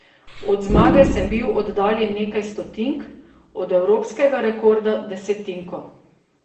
Od zmage sem bil oddaljen nekaj stotink, od evropskega rekorda desetinko.